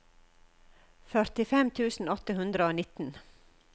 førtifem tusen åtte hundre og nitten